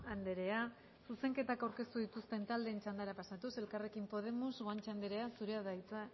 andrea zuzenketak aurkeztu dituzten taldeen txandara pasatuz elkarrekin podemos guanche andrea zurea da hitza